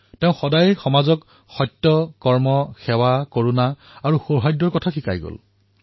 তেওঁ সমাজক সদায়েই সত্য কৰ্ম সেৱা কৰুণা আৰু সৌহাৰ্দ্যৰ মাৰ্গ প্ৰদৰ্শিত কৰিছিল